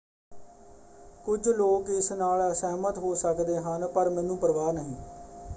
"ਕੁਝ ਲੋਕ ਇਸ ਨਾਲ ਅਸਹਿਮਤ ਹੋ ਸਕਦੇ ਹਨ ਪਰ ਮੈਨੂੰ ਪਰਵਾਹ ਨਹੀਂ।